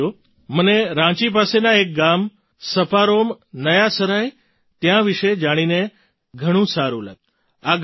સાથીઓ મને રાંચી પાસેના એક ગામ સપારોમ નયા સરાય ત્યાં વિશે જાણીને ઘણું સારું લાગ્યું